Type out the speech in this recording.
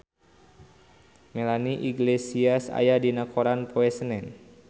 Melanie Iglesias aya dina koran poe Senen